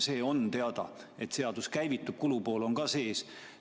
See on teada, et seadus käivitub, kulupool on sees.